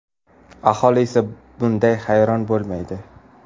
Aholi esa bunday hayron bo‘lmaydi.